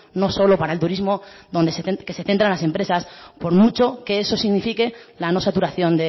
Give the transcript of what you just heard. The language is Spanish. no solo para el turismo donde se centran las empresas por mucho que eso signifique la no saturación